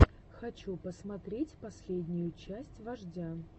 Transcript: хочу посмотреть последнюю часть вождя